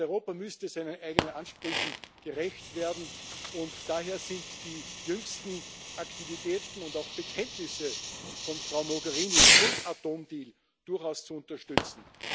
Europa müsste seinen eigenen Ansprüchen gerecht werden, und daher sind die jüngsten Aktivitäten und auch Bekenntnisse von Frau Mogherini zum Atomdeal durchaus zu unterstützen.